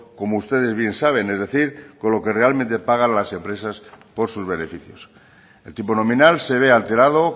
como ustedes bien saben es decir con lo que realmente pagan las empresas por sus beneficios el tipo nominal se ve alterado